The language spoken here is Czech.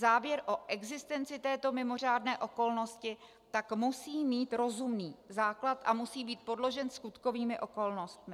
Závěr o existenci této mimořádné okolnosti tak musí mít rozumný základ a musí být podložen skutkovými okolnostmi."